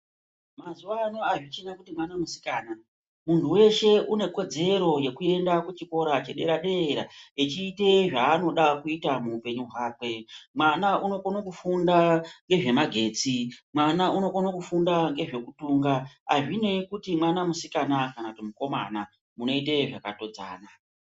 Mazuvaano azvichina kuti mwana musikana munhu weshe unekodzero yekuenda kuchikora chedera dera echiite zvaanoda kuita muupenyu hwakwe mwana unokona kufunda ngezvemagetse mwana unokona kufunda ngezvekutunga hazvinei kuti mwana musikana kana mukomana munoite zvakatodzana .